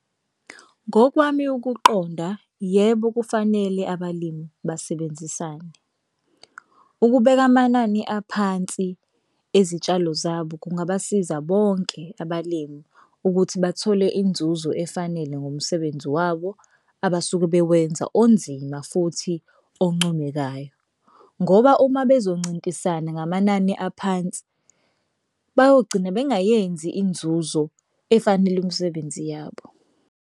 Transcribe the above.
Ngokwami ukuqonda yebo kufanele abalimi basebenzisane ukubeka amanani aphansi ezitshalo zabo kungabasiza bonke abalimi ukuthi bathole inzuzo efanele ngomsebenzi wabo, abasuke bewenza onzima futhi oncomekayo, ngoba uma bezoncintisana ngamanani aphansi bayogcina bengayenzi inzuzo efanele umsebenzi yabo.